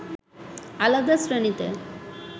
আলাদা শ্রেণীতে